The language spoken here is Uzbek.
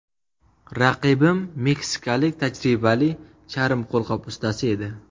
Raqibim meksikalik tajribali charm qo‘lqop ustasi edi.